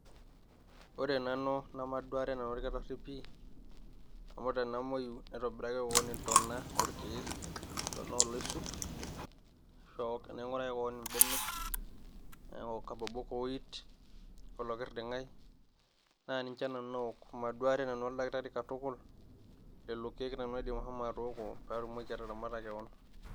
Ore nanu nemaduare nanu orkitari pih amu tenamoyu naitobiraki keon intona oorkiek tonooloisut, naing'uraki kewon imbenek naok ikabobok oooit, olokirding'ai naa ninche ake nanu aaok maduare nanu orkitari katuku lelo kiek nanu aidim asho atooko peeatumoki ashomo ataramata kewon